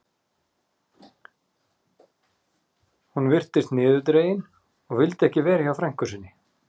Hún virtist niðurdregin og vildi ekki vera hjá frænku sinni.